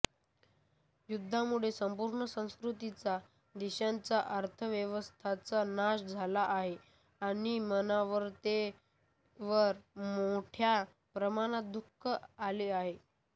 युद्धामुळे संपूर्ण संस्कृतींचा देशांचा अर्थव्यवस्थांचा नाश झाला आहे आणि मानवतेवर मोठ्या प्रमाणात दुःख आले आहे